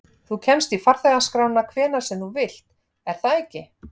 Þú kemst í farþegaskrána hvenær sem þú vilt, er það ekki?